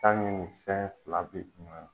K'a ni nin fɛn fila bɛ